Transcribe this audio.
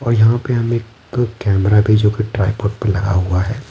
और यहाँ पे हमें एक कैमरा भी जोकि ट्राइपॉड पे लगा हुआ है।